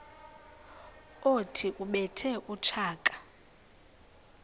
othi ubethe utshaka